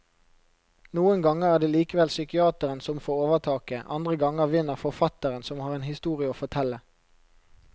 Noen ganger er det likevel psykiateren som får overtaket, andre ganger vinner forfatteren som har en historie å fortelle.